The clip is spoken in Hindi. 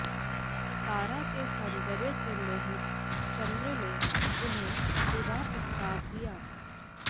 तारा के सौंदर्य से मोहित चंद्र ने उन्हें विवाहप्रस्ताव दिया